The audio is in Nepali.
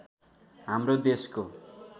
हाम्रो देशको